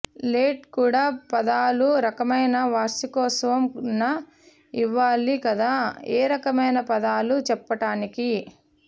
let కూడా పదాలు రకమైన వార్షికోత్సవం న ఇవ్వాలి కాదు ఏ రకమైన పదాలు చెప్పటానికి